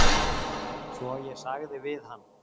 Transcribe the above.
Svo ég sagði við hann